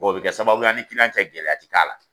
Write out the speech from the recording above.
O bɛ kɛ sababu ye an ni cɛ gɛlɛya ti k'a la.